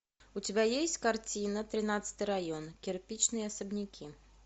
у тебя есть картина тринадцатый район кирпичные особняки